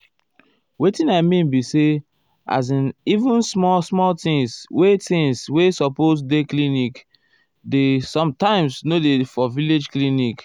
wetin i mean be say as in even small small things wey things wey supose dey clinic dey sometimes nor dey for village clinic.